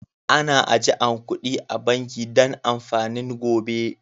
Ana ajian kudi a'banki Dan amfanin gobe.